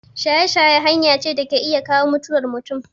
Shaye-shaye hanya ce da ke iya kawo mutuwar mutum.